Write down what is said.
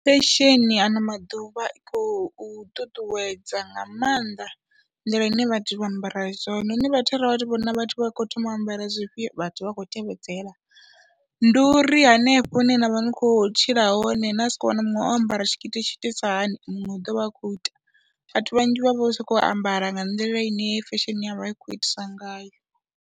Fesheni ano maḓuvha i khou ṱuṱuwedza nga mannḓa nḓila ine vhathu vha ambara zwone, hone vhathu arali vhathu vha vhona vhathu vha khou thoma u ambara zwifhio vhathu vha khou tevhedzela, ndi uri hanefho hune na vha ni khou tshila hone na sokou wana muṅwe o ambara tshitikiti tshi itiswa hani muṅwe u ḓo vha a khou ita, vhathu vhanzhi vha vho sokou ambara nga nḓila ine fesheni ya vha i khou itisa ngayo.